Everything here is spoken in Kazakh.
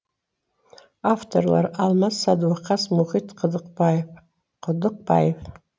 авторлары алмас садуақас мұхит құдықбаев